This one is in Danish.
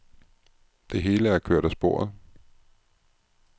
Det hele er kørt af sporet.